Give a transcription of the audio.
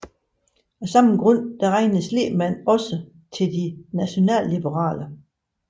Af samme grund regnes Lehmann også til De Nationalliberale